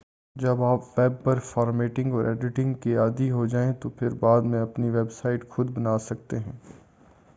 جب آپ ویب پر فارمیٹنگ اور ایڈیٹنگ کے عادی ہوجائیں تو پھر بعد میں آپ اپنی ویب سائٹ خُود بنا سکتے ہیں